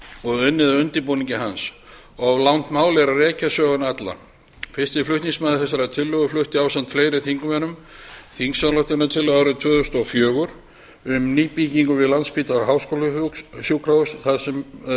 og unnið að undirbúningi hans of langt mál er að rekja söguna alla fyrsti flutningsmaður þessarar tillögu flutti ásamt fleiri þingmönnum þingsályktunartillögu árið tvö þúsund og fjögur um nýbyggingu við landspítala háskólasjúkrahús þar